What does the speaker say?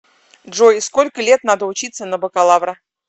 джой сколько лет надо учиться на бакалавра